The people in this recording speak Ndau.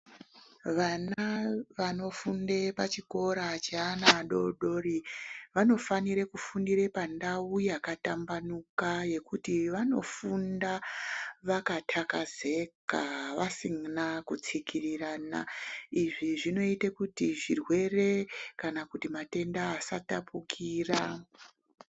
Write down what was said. Vana vanofunde pachikora cheana adodori vanofanire kufundire pandau yakatambanuka yekuti vanofunda vakatakazeka vasina kutsikirirana izvi zvinoite kuti zvirwere kana kuti matenda asatapukira.